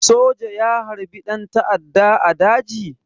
Soja ya harbi ɗan ta'adda a daji?